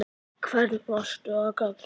Í hvern varstu að kalla?